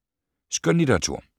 Skønlitteratur